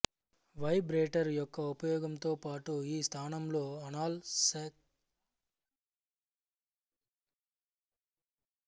vibrator యొక్క ఉపయోగంతో పాటు ఈ స్థానంలో అనాల్ సెక్స్ కూడా సాధ్యమే